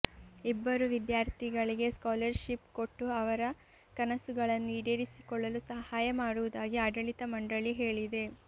ಇಬ್ಬರು ವಿದ್ಯಾರ್ಥಿಗಳಿಗೆ ಸ್ಕಾಲರ್ಶಿಪ್ ಕೊಟ್ಟು ಅವರ ಕನಸುಗಳನ್ನು ಈಡೇರಿಸಿಕೊಳ್ಳಲು ಸಹಾಯ ಮಾಡುವುದಾಗಿ ಆಡಳಿತ ಮಂಡಳಿ ಹೇಳಿದೆ